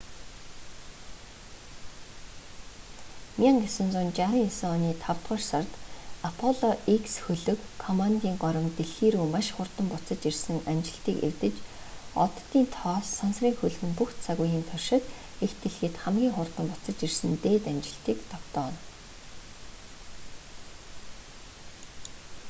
1969 оны тавдугаар сард аполло x хөлөг коммандын горимд дэлхий рүү маш хурдан буцаж ирсэн амжилтыг эвдэж оддын тоос сансрын хөлөг нь бүх цаг үеийн туршид эх дэлхийд хамгийн хурдан буцаж ирсэн дээд амжилтыг тогтооно